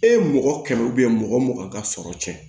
E ye mɔgɔ kɛmɛ mɔgɔ mugan ka sɔrɔ cɛn